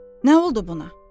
Nə oldu buna?